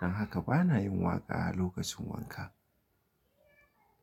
Don haka bana yin waƙa a lokacin wanka.